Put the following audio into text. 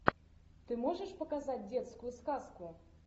ты можешь показать детскую сказку